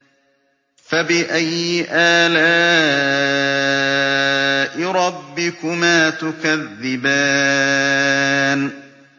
فَبِأَيِّ آلَاءِ رَبِّكُمَا تُكَذِّبَانِ